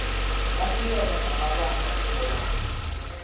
banikele ngamabanga wokobana